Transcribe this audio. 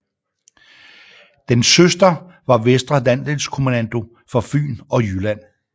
Dens søster var Vestre Landsdelskommando for Fyn og Jylland